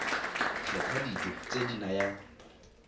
kgetha dijo tse di nayang